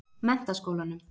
Menntaskólanum